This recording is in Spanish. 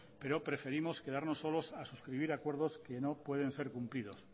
pero preferimos quedarnos solos a suscribir acuerdos que no pueden ser cumplidos